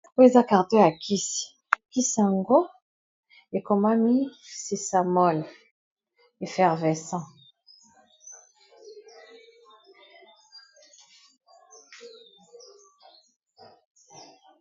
Oyo eza carton ya kisi, kisi yango ekomami sisamole effervescent .